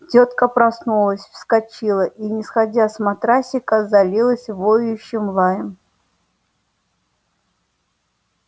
тётка проснулась вскочила и не сходя с матрасика залилась воющим лаем